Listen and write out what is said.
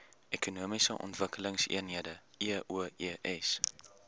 ekonomiese ontwikkelingseenhede eoes